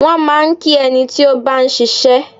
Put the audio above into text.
Wọ́n máa ń kí ẹni tí ó bá ń ṣiṣẹ́.